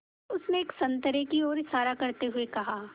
उसने एक संतरे की ओर इशारा करते हुए कहा